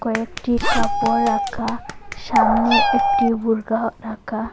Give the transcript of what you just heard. কয়েকটি কাপড় রাখা সামনে একটি বোরখা রাখা।